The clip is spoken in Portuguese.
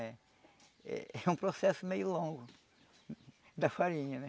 É um processo meio longo da farinha, né?